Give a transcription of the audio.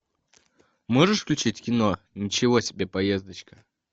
можешь включить кино ничего себе поездочка